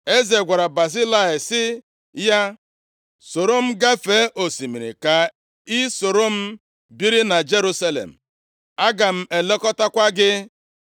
Eze gwara Bazilai sị ya, “Soro m gafee osimiri ka i soro m biri na Jerusalem. Aga m elekọtakwa gị.”